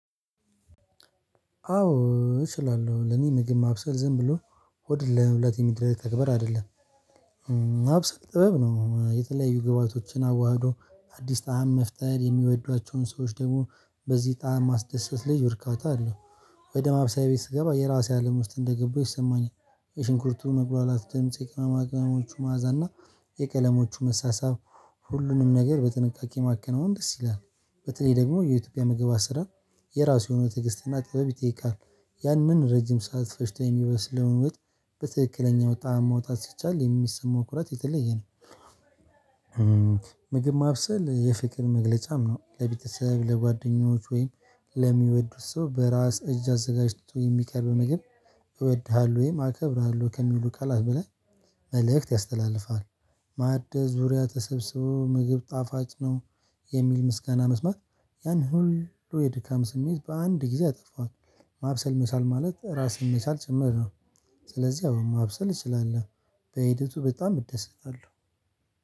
አዎ እችላለሁ ለኔ ምግብ ማብሰል ዝም ብሎ ሆድን ለመሙላት የሚደረግ ተግባር አይደለም። ማብሰል ጥበብ ነው የተለያዩ ግባአቶችን አዋህዶ አዲስ ጣዕም መፍጠር የሚወዷቸውን ሰዎች ደግሞ በዚህ ጣዕም ማስደሰት ልዩ እርካታ አለው። ወደ ማብሰያ ቤት ስገባ የራሴ አለም ውስጥ እንደገባሁ ይሰማኛል። የሽንኩርቱ መብላላት ድምጽ የቅመማ ቅመሞቹ ማዕዛና የቀለሞቹ መሳሳብ ሁሉንም ነገር በጥንቃቄ ማከናወን ደስ ይላል። በተለይ ደግሞ የኢትዮጵያ ምግባት አሰራር የራሱ የሆነ ትግስትና ጥበብ ይጠይቃል። ያንን ረጅም ሰዓት ፈጅቶ የሚበስለውን ወጥ በትክክለኛው ጣዕም ማውጣት ሲቻል የሚሰማው ኩራት የተለየ ነው። ምግብ ማብሰል የፍቅር መግለጫም ነው ለቤተሰብ ለጓደኞች ወይም ለሚወዱት ሰው በራስ እጅ አዘጋጅቶ የሚቀርብ ምግብ እወድሃለሁ ወይም አከብራለሁ ከሚሉ ቃላት በላይ መልእክት ያስተላልፋሉ። ማዕድ ዙሪያ ተሰብስበው ምግብ ጣፋጭ ነው የሚል ምስጋና መስማት ያን ሁሉ የድካም ስሜት በአንድ ጊዜ አጠፋው። ማብሰል መቻል ማለት ራስን መቻል ጭምር ነው። ስለዚህ አበባ ማብሰል እችላለሁ። በሂደቱ በጣም እደሰታለሁ።